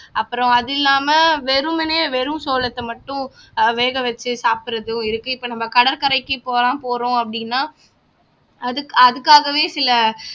அப்புறம் அது இல்லாம வெறுமனே வெறும் சோளத்தை மட்டும் ஆஹ் வேக வச்சு சாப்பிடுறதும் இருக்கு இப்போ நம்ம கடற்கரைக்கு போறோம் போறோம் அப்படின்னா அதுக்கு அதுக்காகவே சில